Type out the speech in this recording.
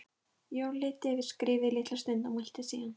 Jón leit yfir skrifið litla stund og mælti síðan